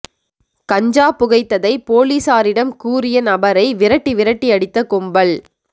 கஞ்சா புகைத்ததை போலீசாரிடம் கூறிய நபரை விரட்டி விரட்டி அடித்த கும்பல்